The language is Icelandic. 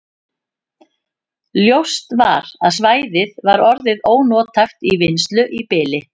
Ljóst var að svæðið var orðið ónothæft til vinnslu í bili.